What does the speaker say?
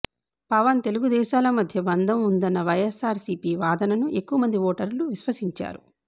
పవన్ తెలుగుదేశాల మధ్య బంధం ఉందన్న వైఎస్సార్సీపీ వాదనను ఎక్కువ మంది ఓటర్లు విశ్వసించారు